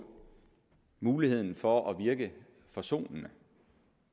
muligheden for at virke forsonende